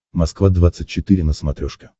москва двадцать четыре на смотрешке